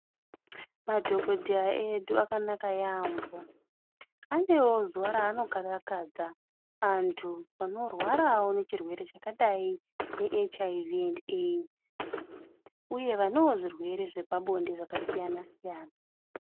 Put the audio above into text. Madhokodheya edu akanaka yambo anewo zuwa ranogara pashi achikarakadza vantu vanirwarawo nechirwere chakaita seHIV and AIDS uyewo vanewo zvirwere zvepabonde zvakasiyana siyana.